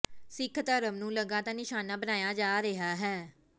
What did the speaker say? ਸਿੱਖ ਧਰਮ ਨੂੰ ਲਗਾਤਾਰ ਨਿਸ਼ਾਨਾ ਬਣਾਇਆ ਜਾ ਰਿਹਾ ਹੈ